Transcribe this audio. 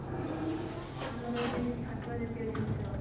ଆମର ଯେମିତି ଶାଗ ଜାତୀୟ ଜିନିଷ